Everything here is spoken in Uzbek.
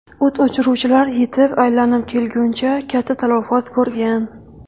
O‘t o‘chiruvchilar yetib aylanib kelguncha katta talafot ko‘rgan.